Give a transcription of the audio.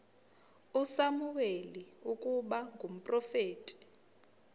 usamuweli ukuba ngumprofeti